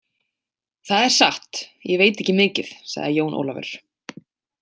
Það er satt, ég veit ekki mikið, sagði Jón Ólafur.